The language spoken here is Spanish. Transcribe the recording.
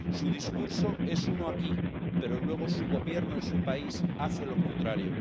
Su discurso es uno aquí, pero luego su Gobierno en su país hace lo contrario.